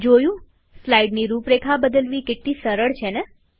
જોયુંસ્લાઈડની રૂપરેખા બદલવી કેટલી સરળ છે ને